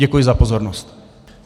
Děkuji za pozornost.